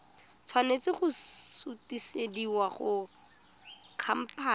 tshwanela go sutisediwa go khamphane